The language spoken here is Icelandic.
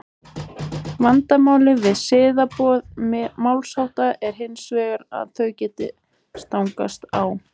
vandamálið við siðaboð málshátta er hins vegar að þau geta stangast á